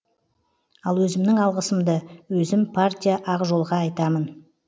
ал өзімнің алғысымды өзім партия ақ жол ға айтамын